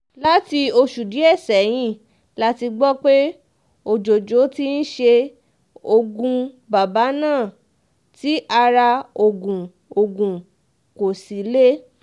láti oṣù díẹ̀ sẹ́yìn la gbọ́ pé òjòjò ti ń ṣe ogún bàbà náà tí ara ogún ogún kò sì le